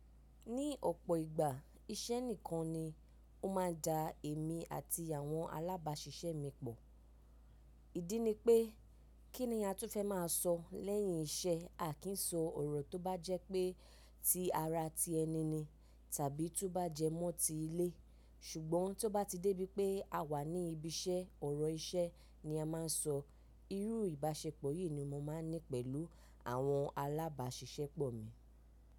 Ní ọ̀pọ̀ ìgbà iṣẹ́ nìkan ni ó máa ń da èmi àti àwọn alábàáṣiṣẹ́ mi pọ̀. Ìdí ni pé kí ni a tún fẹ́ máa sọ lẹ́yìn iṣẹ́? A kì í so ọ̀rọ̀ tó bá jẹ́ pé ti ara ti ẹni ni tàbí tó bá jẹ́ mọ́ ti ilé. Ṣùgbọ́n tó bá ti dé bí pé a wà ní ibi iṣẹ́, ọ̀rọ̀ iṣẹ́ ni a máa ń sọ. Irú ìbáṣepọ̀ yìí ni mo máa ń ní pẹ̀lú àwọn alábáṣiṣẹ́pọ̀ mi.